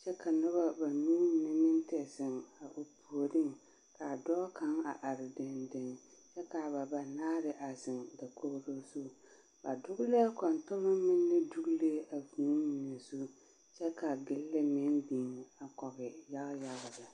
kyɛ ka noba banuu mine meŋ te zeŋ a o puoriŋ k'a dɔɔ kaŋ a are dendeŋ kyɛ k'a ba banaare a zeŋ dakogiro zu ba dogelɛɛ kɔntoloŋ meŋ ne dogelee a vūū mine zu kyɛ ka gilli meŋ biŋ a kɔge yaga yaga lɛ.